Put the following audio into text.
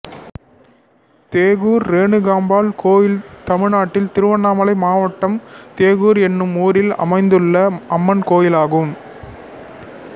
தேசூர் ரேணுகாம்பாள் கோயில் தமிழ்நாட்டில் திருவண்ணாமலை மாவட்டம் தேசூர் என்னும் ஊரில் அமைந்துள்ள அம்மன் கோயிலாகும்